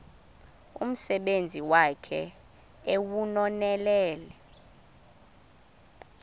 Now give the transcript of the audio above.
umsebenzi wakhe ewunonelele